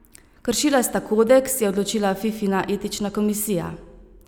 Kršila sta kodeks, je odločila Fifina etična komisija.